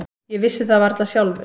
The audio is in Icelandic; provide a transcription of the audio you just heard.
Ég vissi það varla sjálfur.